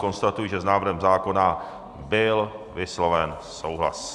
Konstatuji, že s návrhem zákona byl vysloven souhlas.